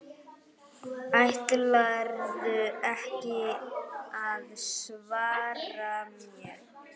Ætlarðu ekki að svara mér?